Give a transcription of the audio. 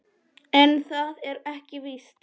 En það er ekki víst.